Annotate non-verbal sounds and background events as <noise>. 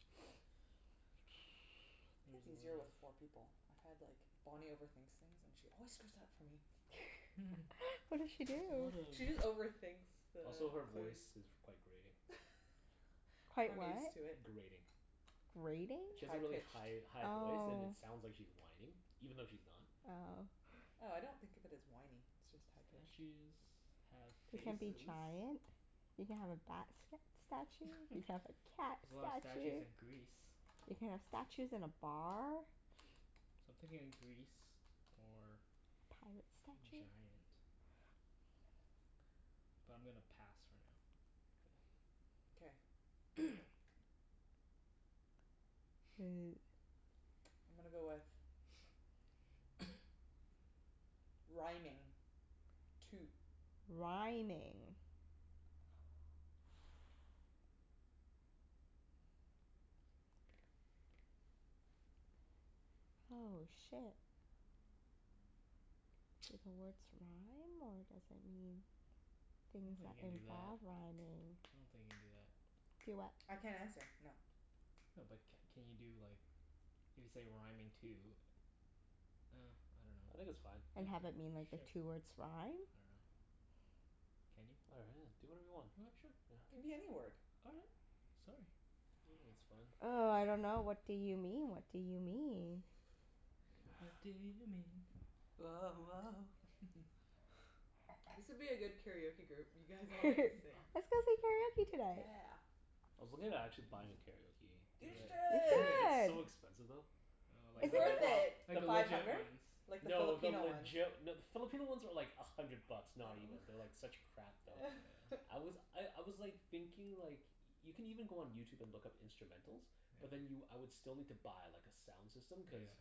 <noise> It's easier with <inaudible> four people. I've had like, Bonnie overthinks things and she always screws up for me. <laughs> <laughs> What did she do? There's a lot She just of overthinks the Also, her clues. voice is quite grating. <laughs> Quite I'm what? used to it. Grating. Grating? She has High a really pitched. high high voice and Oh. it sounds like she's whining. Even though she's not. Oh. Oh, I don't think of it as whiny, it's just high pitched. Statues have You can be faces. giant. You can have a bat st- statue. <laughs> There's You can have a cat a lot of statues statue. in Greece. You can have statues in a bar. So I'm thinking Greece or Pirate statue. giant. But I'm gonna pass for now. K. Okay. <noise> <noise> I'm gonna go with <noise> Rhyming. Two. Rhyming. Oh, shit. Do the words rhyme, or does it mean I don't things think that you can do that. involve rhyming? I don't think you can do that. Do what? I can't answer. No. No but c- can you do like, if you say rhyming two Ah, I dunno. I think Well, it's fine. And have it mean, like, the k, two sure. words rhyme? I dunno. Can you? All I <inaudible> do whatever you want. right. Sure. Yeah. It can be any word. All right. Sorry. I think it's fine. Oh, I dunno. What do you mean? What do you mean? What do you mean? Woah woah. <laughs> <noise> This would be a good karaoke group. You guys <laughs> all like to sing. Let's go sing karaoke tonight. Yeah. I was looking at actually buying a karaoke Do You machine. it. You Do should. it. Yeah. It's should! so expensive though. Oh, like It's Like Is the the le- worth it? it. like pro- the the Five legit hundred? ones. Like the No, the Filipino ones. legit No, the Filipino ones are like a hundred bucks. Not even. They're like such crap Oh, though. Oh. yeah. I <laughs> was I I was like thinking like Y- you can even go on YouTube and look up instrumentals. But then you, Yeah. I would still need to buy like a sound system, cuz Yeah.